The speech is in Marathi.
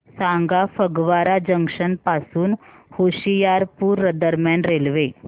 सांगा फगवारा जंक्शन पासून होशियारपुर दरम्यान रेल्वे